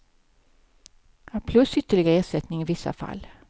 Plus ytterligare ersättning i vissa fall.